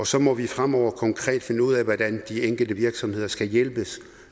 så må vi fremover konkret finde ud af hvordan de enkelte virksomheder skal hjælpes